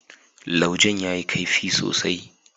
laujen ya yi kaifi sosai.